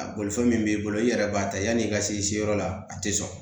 A bolifɛn min b'i bolo i yɛrɛ b'a ta yani i ka se yɔrɔ la a tɛ sɔn